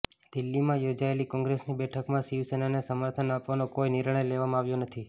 દિલ્હીમાં યોજાયેલી કોંગ્રેસની બેઠકમાં શિવસેનાને સમર્થન આપવાનો કોઈ નિર્ણય લેવામાં આવ્યો નથી